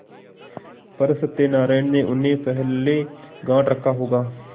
पर सत्यनारायण ने उन्हें पहले गॉँठ रखा होगा